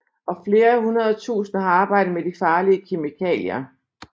Og flere hundrede tusinde har arbejdet med de farlige kemikalier